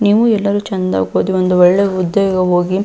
ನೀವು ಎಲ್ಲರೂ ಚೆಂದ ಒಂದ್ ಒಳ್ಳೆ ಉದ್ಯೋಗ ಹೋಗಿ--